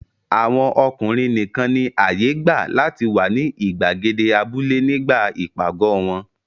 Àwọn ọkùnrin nìkan ni àyè gbà láti wà ní ìgbàgede abúlé nígbà ìpàgọ̀ wọn.